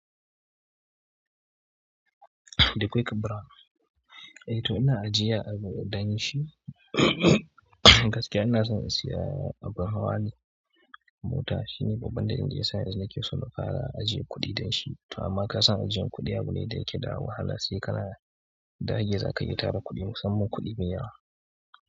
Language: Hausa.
Da kwai ka brown. Eh to ina ajiye abu dan shi, gaskiya ina son in siya abun hawa ne, mota shine babban dalili da yasa ni nake son na fara ajiye kuɗi dan shi. To amma ka san ajiyan kuɗi abu ne da yake da wahala sai kana dage za ka iya tara kuɗi musamman kuɗi me yawa.